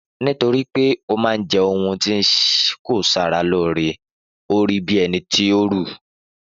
Nítorí pé ọ ma je ounjẹ ti kò saralóore orí bí ẹnití ọ rù